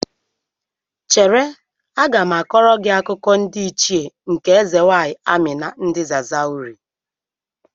Chere, aga m akọrọ gị akụkọ ndị Ichie nke eze nwaanyị Amina ndị Zazauri.